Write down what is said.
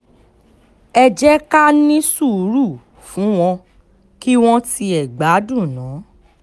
ẹ jẹ́ ká ní sùúrù fún wọn kí wọ́n tiẹ̀ gbádùn ná